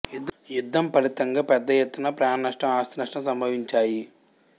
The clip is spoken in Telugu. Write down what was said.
యుద్ధం ఫలితంగా పెద్ద ఎత్తున ప్రాణ నష్టం ఆస్థినష్టం సంభవించాయి